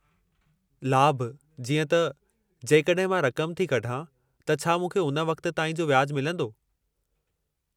लाभु जीअं त, जेकड॒हिं मां रक़म थी कढां त छा मूंखे हुन वक़्तु ताईं जो व्याजु मिलंदो?